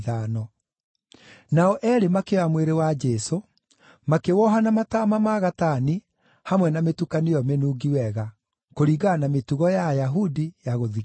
Nao eerĩ makĩoya mwĩrĩ wa Jesũ, makĩwoha na mataama ma gatani hamwe na mĩtukanio ĩyo mĩnungi wega, kũringana na mĩtugo ya Ayahudi ya gũthikana.